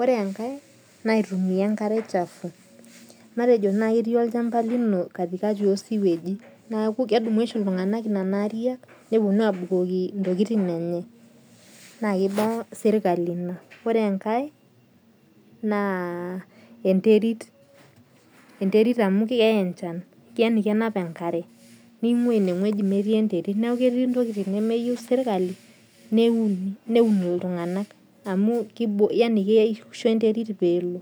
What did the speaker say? Ore enkae naa aitumia enkare chafu . Matejo etii olchamba lino katikati oo siweji, neeku kedumu oshi iltung'ana nena ariak nepuonu abukoki tokitin enye naa kiba serikali ina. Ore enkae naa enterit, enterit amu keya enchan yaani kenap enkare ning'ua ineweji meeti enterit. Neeku keeti intokitin nemeyou serikali neuni, neun iltung'ana amu keishu enterit peelo.